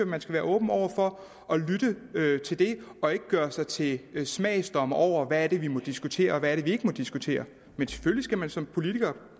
man skal være åben over for at lytte til det og ikke gøre sig til dommer over hvad vi må diskutere og hvad vi ikke må diskutere men selvfølgelig skal man som politiker